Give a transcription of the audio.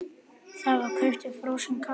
Það var keyptur frosinn kalli.